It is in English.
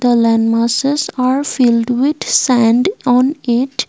the land masses are filled with sand on it.